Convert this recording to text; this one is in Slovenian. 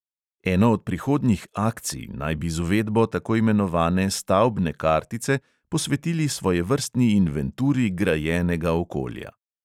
Eno od prihodnjih "akcij" naj bi z uvedbo tako imenovane stavbne kartice posvetili svojevrstni inventuri grajenega okolja.